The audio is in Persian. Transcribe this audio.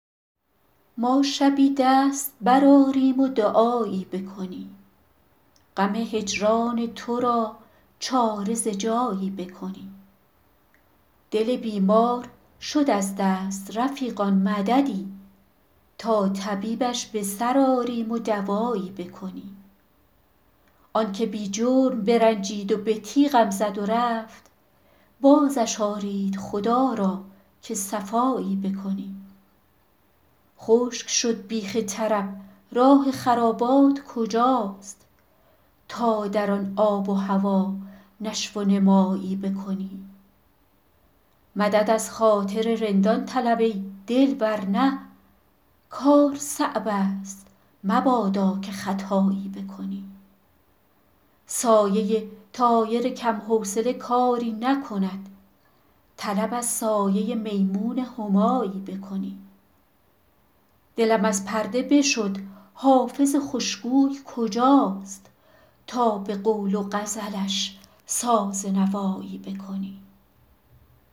ما شبی دست برآریم و دعایی بکنیم غم هجران تو را چاره ز جایی بکنیم دل بیمار شد از دست رفیقان مددی تا طبیبش به سر آریم و دوایی بکنیم آن که بی جرم برنجید و به تیغم زد و رفت بازش آرید خدا را که صفایی بکنیم خشک شد بیخ طرب راه خرابات کجاست تا در آن آب و هوا نشو و نمایی بکنیم مدد از خاطر رندان طلب ای دل ور نه کار صعب است مبادا که خطایی بکنیم سایه طایر کم حوصله کاری نکند طلب از سایه میمون همایی بکنیم دلم از پرده بشد حافظ خوش گوی کجاست تا به قول و غزلش ساز نوایی بکنیم